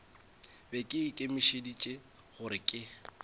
be ke ikemišeditše gore ke